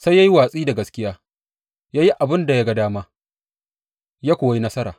Sai ya yi watsi da gaskiya, ya yi abin da ya ga dama, ya kuwa yi nasara.